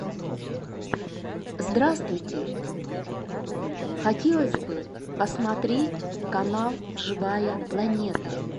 здравствуйте хотелось бы посмотреть канал живая планета